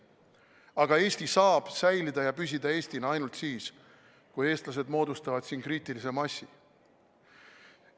Aga Eesti saab säilida ja püsida Eestina ainult siis, kui eestlased moodustavad siin kriitilise massi.